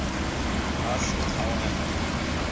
ba se ba kgaogana le